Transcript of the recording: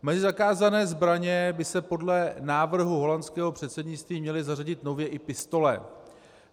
Mezi zakázané zbraně by se podle návrhu holandského předsednictví měly zařadit nově i pistole.